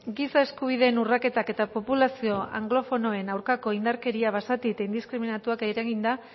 giza eskubideen urraketak eta populazio anglofonoen aurkako indarkeria basati eta indiskriminatuak eraginda